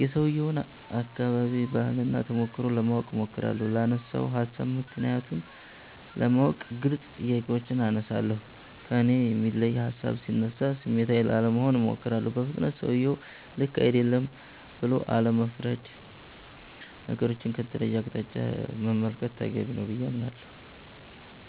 የሠውየውን አከባቢ፣ ባህል እና ተሞክሮ ለማወቅ እሞክራለሁ። ላነሣው ሀሣብ ምክንያቱን ለማወቅ ግልጽ ጥያቄዎችን አነሣለሁ። ከእኔ የሚለይ ሀሣብ ሢነሣ ስሜታዊ ላለመሆን እሞክራለሁ። በፍጥነት ሠውየው ልክ አይደለም ብሎ አለመፍረድ። ነገሮቹን ከተለየ አቅጣጫ መመልከት ተገቢ ነው ብዬ አምናለሁ።